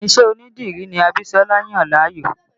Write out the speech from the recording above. Ìṣe onídìrí ní Abisola yàn láàyò